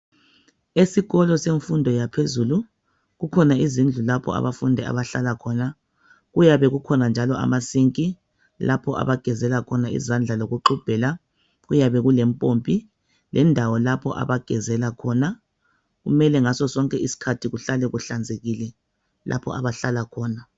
Esikolo semfundo yaphezulu kukhona izindlu lapho abafundi abahlala khona kuyabe kukhona njalo amasink lapho abagezela khona izandla lokuxubhela kuyabe kule mpompi lendawo lapho abagezela khona kumele ngasosonke isikhathi kuhlale kuhlanzekile lapho abahlala khona.